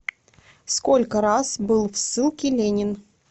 сколько раз был в ссылке ленин